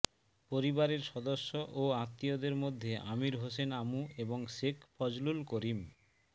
পরিবারের সদস্য ও আত্মীয়দের মধ্যে আমির হোসেন আমু এবং শেখ ফজলুল করিম